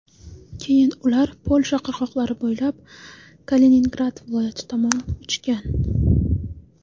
Keyin ular Polsha qirg‘oqlari bo‘ylab Kaliningrad viloyati tomon uchgan.